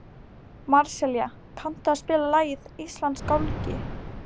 Marselía, kanntu að spila lagið „Íslandsgálgi“?